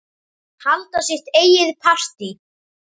Halda sitt eigið partí.